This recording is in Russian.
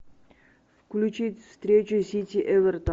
включить встречу сити эвертон